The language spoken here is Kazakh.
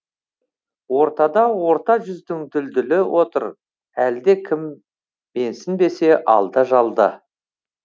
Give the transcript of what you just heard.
ортада орта жүздің дүлдүлі отыр әлде кім менсінбесе алда жалда